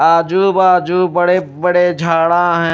आजू बाजू बड़े बड़े झाड़ा हैं।